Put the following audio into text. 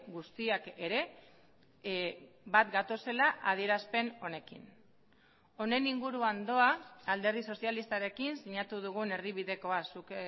guztiak ere bat gatozela adierazpen honekin honen inguruan doa alderdi sozialistarekin sinatu dugun erdibidekoa zuk